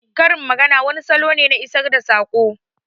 Karin magana wani salo ne na isar da saƙo